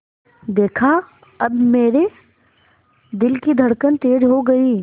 देखा अब मेरे दिल की धड़कन तेज़ हो गई